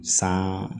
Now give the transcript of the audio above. San